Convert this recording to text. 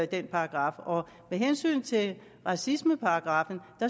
den paragraf med hensyn til racismeparagraffen